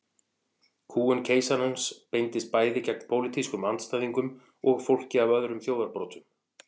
Kúgun keisarans beindist bæði gegn pólitískum andstæðingum og fólki af öðrum þjóðarbrotum.